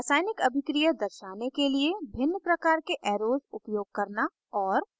रासायनिक अभिक्रिया दर्शाने के लिए भिन्न प्रकार के arrows arrows उपयोग करना और